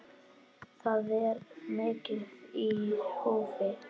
Það er mikið í húfi.